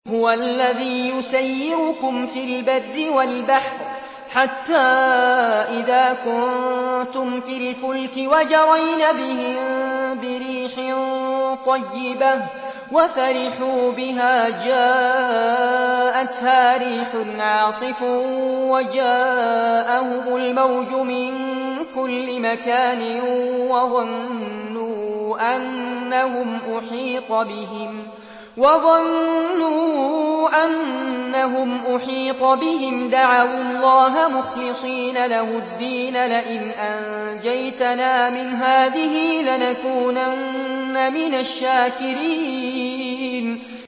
هُوَ الَّذِي يُسَيِّرُكُمْ فِي الْبَرِّ وَالْبَحْرِ ۖ حَتَّىٰ إِذَا كُنتُمْ فِي الْفُلْكِ وَجَرَيْنَ بِهِم بِرِيحٍ طَيِّبَةٍ وَفَرِحُوا بِهَا جَاءَتْهَا رِيحٌ عَاصِفٌ وَجَاءَهُمُ الْمَوْجُ مِن كُلِّ مَكَانٍ وَظَنُّوا أَنَّهُمْ أُحِيطَ بِهِمْ ۙ دَعَوُا اللَّهَ مُخْلِصِينَ لَهُ الدِّينَ لَئِنْ أَنجَيْتَنَا مِنْ هَٰذِهِ لَنَكُونَنَّ مِنَ الشَّاكِرِينَ